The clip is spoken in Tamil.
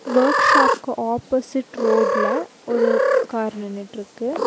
வொர்க்ஷாப்க்கு ஆப்போசிட் ரோட்ல ஒரு கார் நின்னுட்ருக்கு.